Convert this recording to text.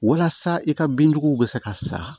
Walasa i ka bin juguw bɛ se ka sa